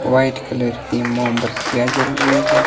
White colour की मोमबत्तियां जल रही है।